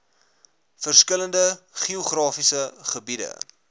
verskillende geografiese gebiede